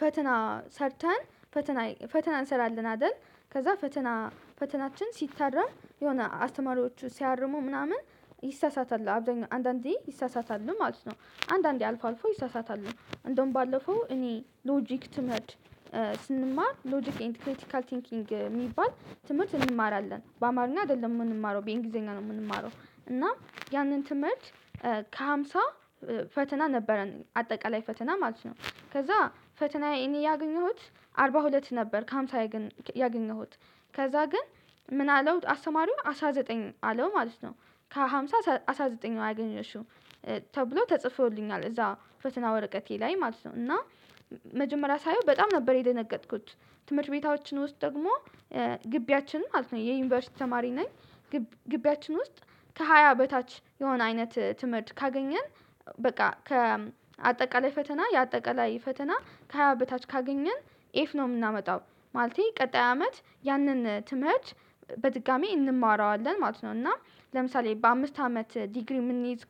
ፈተና ሰርተን ፈተና ፈተና እንሰራለን አይደል? ከዛ ፈተና ፈተናችን ሲ የሆታረምነ አስተማሪዎቹ ሲያርሙ ምናምን ይሳሳታል አብዛኛው አንዳንዴ ይሳሳታል ማለት ነው። አንዳንዴ አልፎ አልፎ ይሳሳታል። እንደውም ባለፈው እኔ ሎጂክ ትምህርት ስንማር ሎጂክ ኤንድ ክሪቲካል ቲንኪንግ የሚባል ትምህርት እንማራለን በአማርኛ አይደለም የምንማረው በእንግሊዘኛ ነው የምንማረው። እና ያንን ትምህርት ከሃምሳ ፈተና ነበረን አጠቃላይ ፈተና ማለት ነው። ከዛ ፈተናዬ እኔ ያገኘሁት አርባ ሁለት ነበር። ከአምሳ ላይ ግን ያገኘሁት ከዛ ግን ምን አለው አስተማሪው አስራ ዘጠኝ አለው ማለት ነው። ከሃምሳ አስራ ዘጠኝ አገኘሽው? ተብሎ ተጽፎልኛል እዛ ፈተና ወረቀቴ ላይ ማለት ነው። እና መጀመሪያ ሳየው በጣም ነበር የደነገጥኩት። ትምህርት ቤታችን ውስጥ ደግሞ ግቢያችን ማለት ነው የዩኒቨርሲቲ ተማሪ ነኝ። ግቢያችን ውስጥ ከሃያ በታች የሆነ አይነት ትምህርት ካገኘን። በቃ ከአጠቃላይ ፈተና የአጠቃላይ ፈተና ከሃያ በታች ካገኘን ኤፍ ነው የምናመጣው። ማለቴ ቀጣይ አመት ያንን ትምህርት በድጋሚ እንማረዋለን ማለት ነው። እና ለምሳሌ በአምስት አመት ዲግሪ የምንይዝ።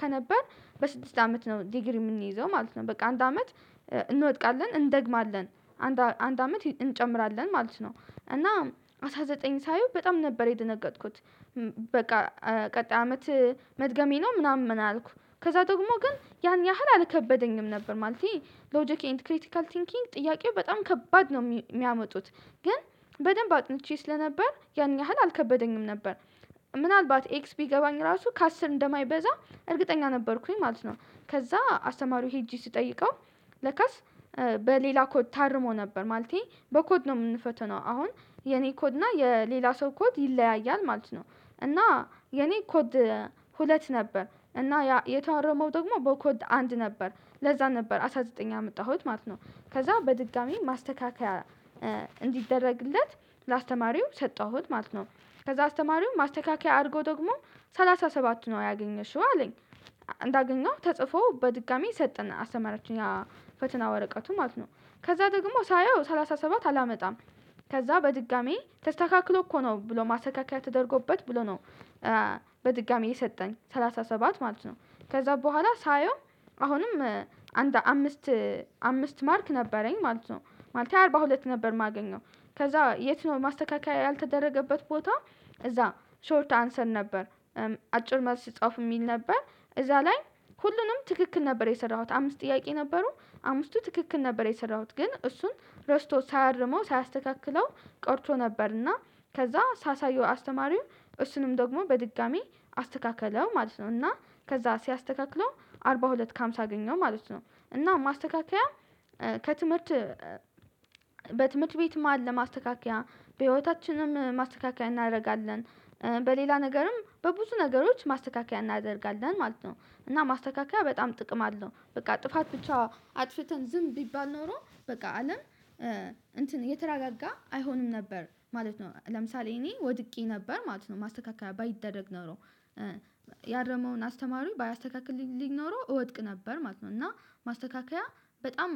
ከነበር በስድስት አመት ነው ዲግሪ የምንይዘው ማለት ነው። በቃ አንድ አመት እንወድቃለን እንደግማለን። አንድ አመት እንጨምራለን ማለት ነው። እና አስራ ዘጠኝ ሳየው በጣም ነበር የደነገጥኩት። በቃ ቀጣይ አመት መድገሜ ነው ምናምን አልኩ። ከዛ ደግሞ ግን ያን ያህል አልከበደኝም ነበር ማለቴ ሎጂክ ኤንድ ክሪቲካል ቲንኪንግ ጥያቄው በጣም ከባድ ነው የሚያመጡት። ግን በደንብ አጥንቼ ስለነበር ያን ያህል አልከበደኝም ነበር። ምናልባት ኤክስ ቢገባኝ ራሱ ከአስር እንደማይበዛ እርግጠኛ ነበርኩኝ ማለት ነው። ከዛ አስተማሪው ሄጄ ስጠይቀው። ለካስ በሌላ ኮድ ታርሞ ነበር ማለቴ። በኮድ ነው የምንፈተነው አሁን የኔ ኮድ እና የሌላ ሰው ኮድ ይለያያል ማለት ነው። እና የኔ ኮድ ሁለት ነበር እና ያ የታረመው ደግሞ በኮድ አንድ ነበር ለዛ ነበር አስራ ዘጠኝ ያመጣሁት ማለት ነው። ከዛ በድጋሚ ማስተካከያ እንዲደረግለት ለአስተማሪው ሰጠሁት ማለት ነው። ከዛ አስተማሪው ማስተካከያ አድርጎ ደግሞ ሰላሳ ሰባት ነው ያገኘሽው አለኝ። እንዳገኘው ተጽፎ በድጋሚ ሰጠን አስተማራችን ያ ፈተና ወረቀቱ ማለት ነው። ከዛ ደግሞ ሳየው ሰላሳ ሰባት አላመጣም። ከዛ በድጋሚ ተስተካክሎ እኮ ነው ብሎ ማሰካከያ ተደርጎበት ብሎ ነው። በድጋሚ የሰጠኝ ሰላሳ ሰባት ማለት ነው። ከዛ በኋላ ሳየው አሁንም አንድ አምስት አምስት ማርክ ነበረኝ ማለት ነው። ማለት አርባ ሁለት ነበር የማገኘው ከዛ የት ነው ማስተካከያ ያልተደረገበት ቦታ? እዛ ሾርት አንሰር ነበር። አጭር መልስ ሲጻፍ የሚል ነበር። እዛ ላይ ሁሉንም ትክክል ነበር የሰራሁት አምስት ጥያቄ ነበሩ። አምስቱ ትክክል ነበር የሰራሁት ግን እሱን ረስቶ ሳያርመው ሳያስተካክለው ቀርቶ ነበርና። ከዛ ሳሳየው አስተማሪው እሱንም ደግሞ በድጋሚ አስተካከለው ማለት ነው። እና ከዛ ሲያስተካክለው አርባ ሁለት ከአምሳ አገኘው ማለት ነው። እና ማስተካከያ። ከትምህርት በትምህርት ቤት መሃል ለማስተካከያ በህይወታችንም ማስተካከያ እናደርጋለን። በሌላ ነገርም በብዙ ነገሮች ማስተካከያ እናደርጋለን ማለት ነው። እና ማስተካከያ በጣም ጥቅም አለው በቃ ጥፋት ብቻ አጥፍተን ዝም ቢባል ኖሮ በቃ አለም። እንትን የተራጋጋ አይሆንም ነበር ማለት ነው። ለምሳሌ እኔ ወድቄ ነበር ማለት ነው ማስተካከያ ባይደረግ ኖሮ። ያረመውን አስተማሪ ባያስተካክልልኝ ኖሮ እወድቅ ነበር ማለት ነው። እና ማስተካከያ በጣም